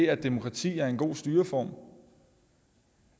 at demokrati er en god styreform